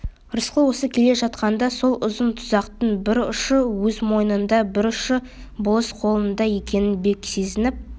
рысқұл осы келе жатқанда сол ұзын тұзақтың бір ұшы өз мойнында бір ұшы болыс қолында екенін бек сезініп